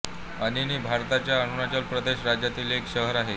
अनिनी भारताच्या अरुणाचल प्रदेश राज्यातील एक शहर आहे